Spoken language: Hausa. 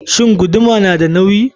Shin guduma nada nauyi?